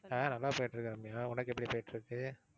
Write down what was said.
அஹ் நல்லா போயிட்டிருக்கு ரம்யா உனக்கு எப்படி போயிட்டிருக்கு?